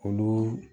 Olu